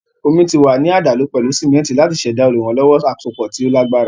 Omí ti wà ní àdàlù pẹ̀lú sìmẹ́ntì láti ṣẹ̀dá olùrànlọ́wọ́ àsopọ̀ tí ó lágbára.